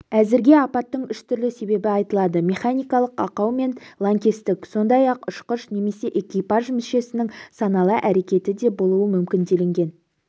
әзірге апаттың үш түрлі себебі айтылады механикалық ақау мен лаңкестік сондай-ақ ұшқыш немесе экипаж мүшесінің саналы әрекеті де болуы мүмкін делінген